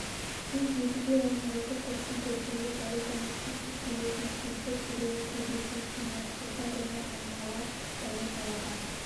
тек едіге оның осы тұрысын көргенде зәрипаны шексіз сүйетінін сезіп жүрегі кеудесіне сыймай сыздап оны аймалап бәле жаладан